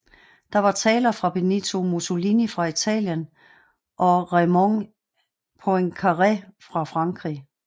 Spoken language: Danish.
Der var taler fra Benito Mussolini fra Italien og Raymond Poincaré fra Frankrig